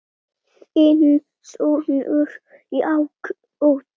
Þinn sonur Jakob.